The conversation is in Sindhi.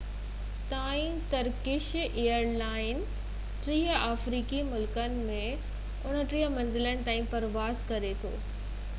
2014 تائين ترڪش ايئر لائنز 30 آفريقي ملڪن ۾ 39 منزلن تائين پرواز ڪري ٿو